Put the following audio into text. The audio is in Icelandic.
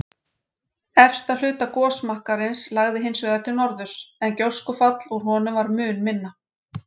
Efsta hluta gosmakkarins lagði hins vegar til norðurs, en gjóskufall úr honum var mun minna.